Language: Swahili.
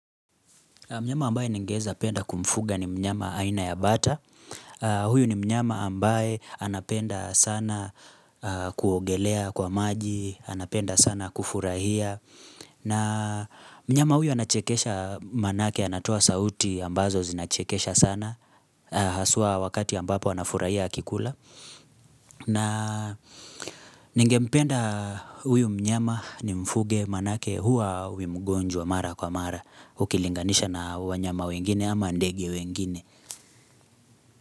Mnyama ambaye ningependa kumfuga ni mnyama aina ya bata Huyu ni mnyama ambaye anapenda sana kuogelea kwa maji anapenda sana kufurahia mnyama huyu anachekesha manake anatoa sauti ambazo zinachekesha sana Haswa wakati ambapo anafurahia akila na ningependa huyu mnyama nimfuge manake huwa hawi mgonjwa mara kwa mara ukilinganisha na wanyama wengine ama ndege wengine.